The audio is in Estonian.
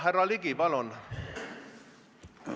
Härra Ligi, palun!